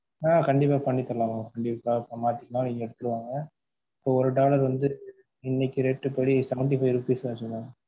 ஆஹ் கண்டிப்பா பண்ணி தரலாம் mam உங்களுக்காக சமாளிச்சுக்கலாம் நீங்க எடுத்துட்டு வாங்க இப்போ ஒரு dollar வந்து, இன்னைக்கு rate படி seventy five rupees ஆச்சு mam